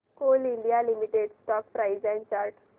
Coal India Limited stock price and chart